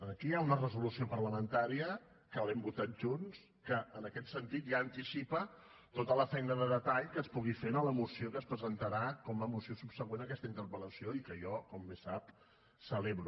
aquí hi ha una resolució parlamentària que l’hem votat junts que en aquest sentit ja anticipa tota la feina de detall que es pugui fer en la moció que es presentarà com a moció subsegüent a aquesta interpel·lació i que jo com bé sap celebro